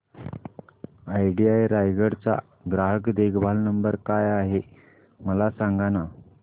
idea Raigad चा ग्राहक देखभाल नंबर काय आहे मला सांगाना